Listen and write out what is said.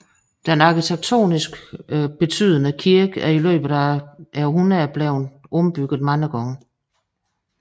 Den arkitektoniske betydende kirke er i løbet af århundrederne blevet ombygget mange gange